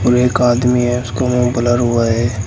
एक आदमी है उसका मुंह ब्लर हुआ है।